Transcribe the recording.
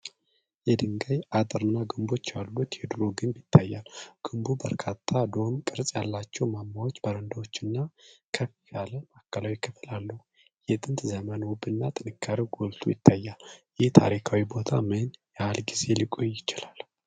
የድንጋይ አጥርና ግንቦች ያሉት የድሮ ግንብ ይታያል። ግንቡ በርካታ ዶም ቅርጽ ያላቸው ማማዎች፣ በረንዳዎችና ከፍ ያለ ማዕከላዊ ክፍል አለው። የጥንት ዘመን ውበትና ጥንካሬው ጎልቶ ይታያል። ይህ ታሪካዊ ቦታ ምን ያህል ጊዜ ሊቆይ ይችላል?